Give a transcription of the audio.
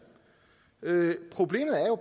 problemet er jo